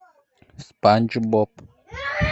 спанч боб